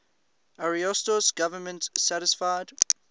ariosto's government satisfied